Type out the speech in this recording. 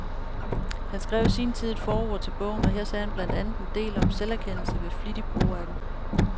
Han skrev i sin tid et forord til bogen, og her sagde han blandt andet en del om selverkendelse ved flittig brug af den.